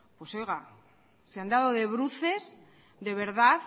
pues oiga se han dado de bruces de verdad